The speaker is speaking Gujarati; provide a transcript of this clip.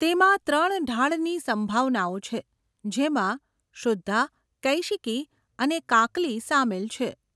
તેમાં ત્રણ ઢાળની સંભાવનાઓ છે, જેમાં શુદ્ધા, કૈશિકી અને કાકલી સામેલ છે.